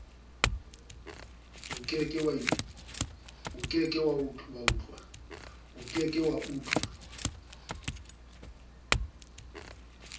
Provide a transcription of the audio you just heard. o ke ke wa utlwi